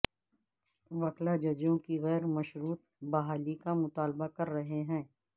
وکلاء ججوں کی غیر مشروط بحالی کا مطالبہ کر رہے ہیں